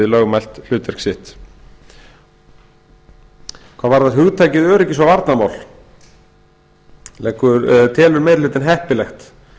lögmælt hlutverk sitt hvað varðar hugtakið öryggis og varnarmál telur meiri hlutinn heppilegt